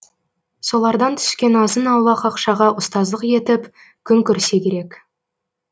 солардан түскен азын аулақ ақшаға ұстаздық етіп күн көрсе керек